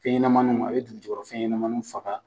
Fɛn ɲɛnamaninw a bɛ dugujukɔrɔ fɛn ɲɛnamaninw faga.